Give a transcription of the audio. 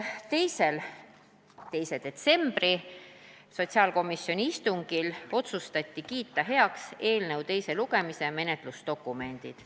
2. detsembri sotsiaalkomisjoni istungil otsustati kiita heaks eelnõu teise lugemise menetlusdokumendid.